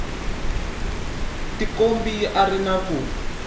tikombi a ri na ku